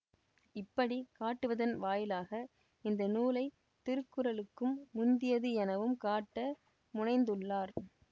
இப்படி காட்டுவதன் வாயிலாக இந்த நூலைத் திருக்குறளுக்கும் முந்தியது எனவும் காட்ட முனைந்துள்ளார்